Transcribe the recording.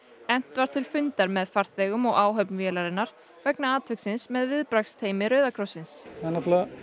efnt var til fundar með farþegum og áhöfn vélarinnar vegna atviksins með viðbragðsteymi Rauða krossins það